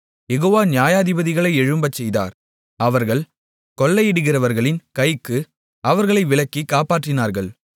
யெகோவா நியாயாதிபதிகளை எழும்பச்செய்தார் அவர்கள் கொள்ளையிடுகிறவர்களின் கைக்கு அவர்களை விலக்கி காப்பாற்றினார்கள்